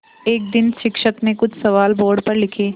एक दिन शिक्षक ने कुछ सवाल बोर्ड पर लिखे